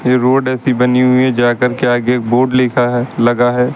यह रोड ऐसी बनी हुई है जाकर के आगे बोर्ड लिखा है लगा है।